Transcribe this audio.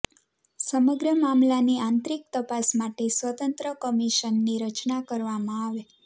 સમગ્ર મામલાની આંતરિક તપાસ માટે સ્વતંત્ર કમિશનની રચના કરવામાં આવે